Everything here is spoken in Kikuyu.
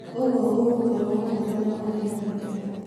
ũguo ũgũkorwo mũhũthũ na ũtĩ na gĩkeno